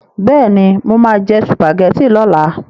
Bẹ́ẹ̀ni, mo máa jẹ sùpàgẹ́tì lọ́la.